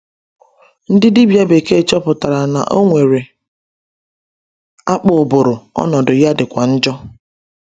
Ndị dibia bekee chọpụtara na o nwere akpụ ụbụrụ, ọnọdụ ya dịkwa njọ.